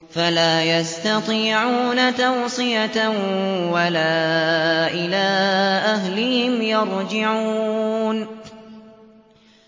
فَلَا يَسْتَطِيعُونَ تَوْصِيَةً وَلَا إِلَىٰ أَهْلِهِمْ يَرْجِعُونَ